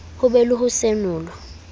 ho be le ho senolwa